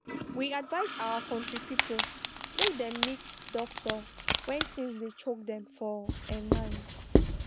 we advise our country people make dem meet doctor when thins dey choke dem for um mind